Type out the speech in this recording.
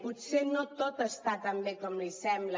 potser no tot està tan bé com li sembla